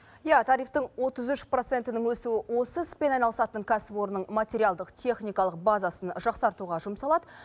иә тарифтің отыз үш процентінің өсуі осы іспен айналысатын кәсіпорынның материалдық техникалық базасын жақсартуға жұмсалады